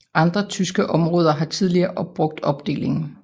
Andre tyske områder har tidligere brugt opdelingen